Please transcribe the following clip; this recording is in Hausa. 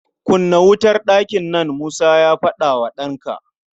"Kunna wutar ɗakin nan!" Musa ya faɗa wa ɗanka.